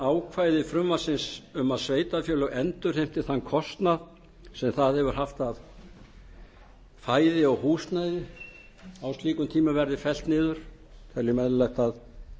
ákvæði frumvarpsins um að sveitarfélög endurheimti þann kostnað sem það hefur haft af fæði og húsnæði á slíkum tímum verði fellt niður teljum eðlilegt að